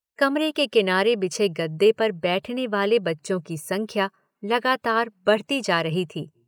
कमरे के किनारे बिछे गदे पर बैठने वाले बच्चों की संख्या लगातार बढ़ती जा रही थी।